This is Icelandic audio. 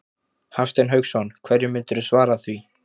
Hafsteinn Hauksson: Hverju myndirðu svara því?